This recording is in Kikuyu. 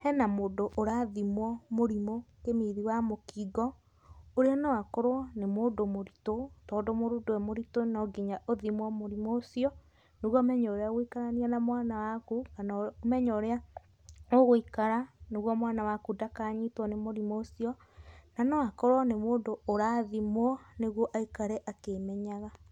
Hena mũndũ ũrathimwo mũrimũ kĩmiri wa mũkingo, ũrĩa no akorwo nĩ mũndũ mũritũ tondũ mũndũ e mũritũ no nginya athimwo mũrimũ ũcio nĩguo ũmenye ũrĩa ũgũikarania na mwana waku kana ũmenye ũrĩa ũgũikara nĩguo mwana waku ndakanyitwo nĩ mũrimíũ ũcio, na no akorwo nĩ mũndũ ũrathimwo nĩguo aikare akĩĩmenyaga.